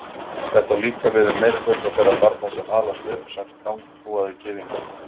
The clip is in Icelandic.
Þetta á líka við um meirihluta þeirra barna sem alast upp sem strangtrúaðir gyðingar.